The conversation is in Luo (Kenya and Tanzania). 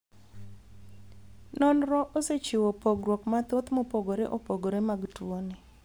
Nonro osechiwo pogruok mathoth mopogore opogore mag tuoni.